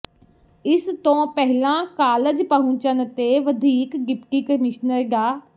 ਇਸ ਤੋਂ ਪਹਿਲਾਂ ਕਾਲਜ ਪਹੁੰਚਣ ਤੇ ਵਧੀਕ ਡਿਪਟੀ ਕਮਿਸ਼ਨਰ ਡਾ